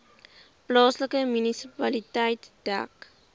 plaaslike munisipaliteit dek